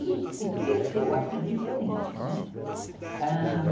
E cresceu assim, diferente, né, ãh...